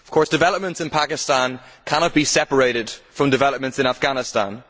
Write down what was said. Developments in Pakistan cannot be separated from developments in Afghanistan.